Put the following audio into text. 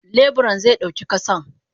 Leburan ze dauki kasan.